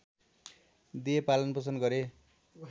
दिए पालनपोषण गरे